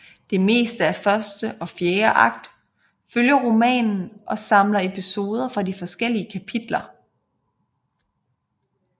Det meste af første og fjerde akt følger romanen og samler episoder fra de forskellige kapitler